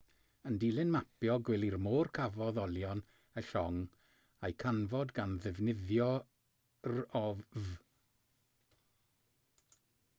yn dilyn mapio gwely'r môr cafodd olion y llong eu canfod gan ddefnyddio rov